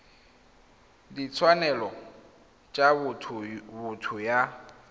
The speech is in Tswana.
ya ditshwanelo tsa botho ya